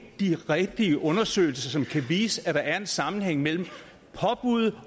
de rigtige undersøgelser som kan vise at der er en sammenhæng mellem påbud